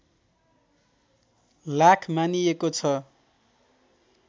लाख मानिएको छ